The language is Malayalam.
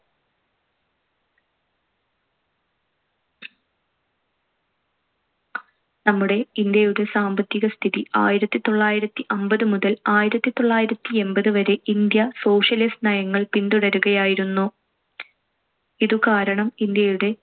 നമ്മുടെ ഇന്ത്യയുടെ സാമ്പത്തികസ്ഥിതി. ആയിരത്തിത്തൊള്ളായിരത്തി അമ്പതുമുതൽ ആയിരത്തിത്തൊള്ളായിരത്തിഎൺപത് വരെ ഇന്ത്യ socialist നയങ്ങൾ പിന്തുടരുകയായിരുന്നു. ഇത് കാരണം ഇന്ത്യയുടെ